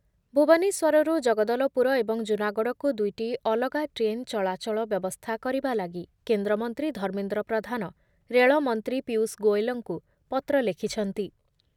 ଭୁବନେଶ୍ଵରରୁ ଜଗଦଲପୁର ଏବଂ ଜୁନାଗଡକୁ ଦୁଇଟି ଅଲଗା ଟ୍ରେନ୍ ଚଳାଚଳ ବ୍ୟବସ୍ଥା କରିବା ଲାଗି କେନ୍ଦ୍ରମନ୍ତ୍ରୀ ଧର୍ମେନ୍ଦ୍ର ପ୍ରଧାନ ରେଳମନ୍ତ୍ରୀ ପୀୟୁଷ ଗୋଏଲଙ୍କୁ ପତ୍ର ଲେଖୁଛନ୍ତି ।